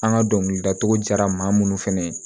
An ka dɔnkilidacogo diyara maa mun fɛnɛ ye